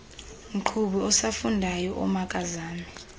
mqhubi osafundayo omakazame